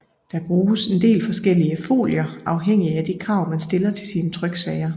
Der bruges en del forskellige folier afhængig af de krav man stiller til sine tryksager